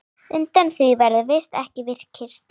Undan því verður ekki vikist.